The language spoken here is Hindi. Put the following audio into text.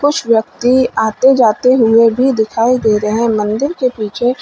कुछ व्यक्ति आते जाते हुए भी दिखाई दे रहे हैं मंदिर के पीछे।